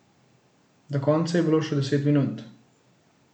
Do konca je bilo še deset minut.